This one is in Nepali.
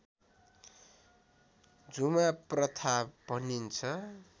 झुमा प्रथा भनिन्छ